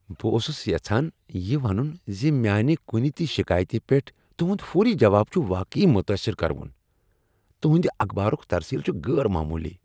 بہٕ اوسُس یژھان یِہ ونُن زِ میانِہ کُنِہ تِہ شکایتِہ پیٹھ تُہند فوری جواب چُھ واقعی متٲثر کروُن۔ تُہندِ اخبارُک ترسیل چھ غیر معمولی ۔